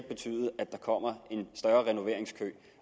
betyde at der kommer en større renoveringskø